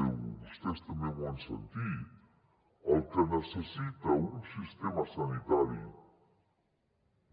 i vostès també m’ho han sentit el que necessita un sistema sanitari